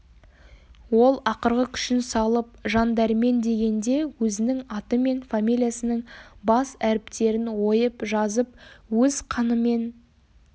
ол ақырғы күшін салып жандәрмен дегенде өзінің аты мен фамилиясының бас әріптерін ойып жазып өз қанымен